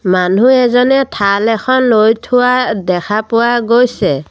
মানুহ এজনে থাল এখন লৈ থোৱা দেখা পোৱা গৈছে।